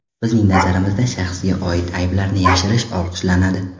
Bizning nazarimizda shaxsga oid ayblarni yashirish olqishlanadi.